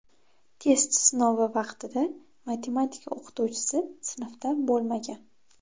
Test sinovi vaqtida matematika o‘qituvchisi sinfda bo‘lmagan.